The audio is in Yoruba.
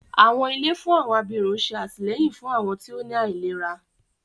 Àwọn ilé fún àwọn abirùn ṣé àtìlẹ́yìn fún àwọn tí ó ní àìlera